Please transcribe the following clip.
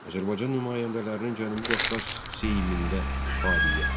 Azərbaycan nümayəndələrinin Cənubi Qafqaz Seymində fəaliyyəti.